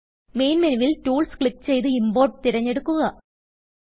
main മെനുവിൽ tools click ചെയ്ത് import തിരഞ്ഞെടുക്കുക